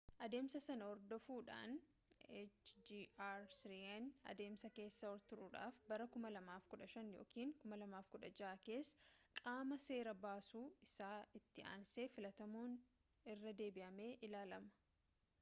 adeemsa sana hordofuudhaan hjr-3n adeemsa keessa turuudhaaf bara 2015 yookaan 2016 keessa qaama seera baasu isa itti aansee filatamuun irra deebi'amee ilaalama